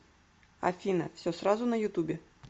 афина все сразу на ютубе